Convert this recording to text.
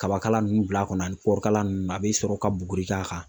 Kabakala nunnu bila kɔnɔ ani kɔɔri kala nunnu a bi sɔrɔ ka buguri k'a kan